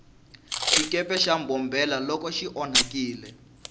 xikepe xa mbombomela loko xi onhakile